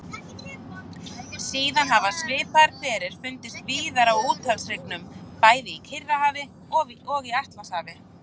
Síðar hafa svipaðir hverir fundist víðar á úthafshryggjunum, bæði í Kyrrahafi og í Atlantshafi.